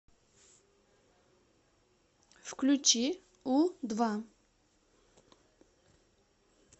включи у два